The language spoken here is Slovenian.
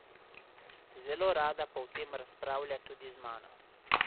Zelo rada pa o tem razpravlja tudi z mano.